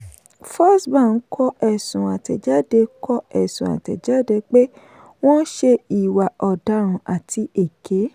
firstbank kọ ẹ̀sùn àtẹ̀jáde kọ ẹ̀sùn àtẹ̀jáde pé wọ́n ṣe ìwà ọ̀daràn àti èké.